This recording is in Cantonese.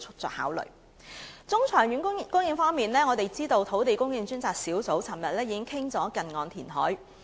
在中、長遠的供應方面，我們知道土地供應專責小組前天曾討論近岸填海。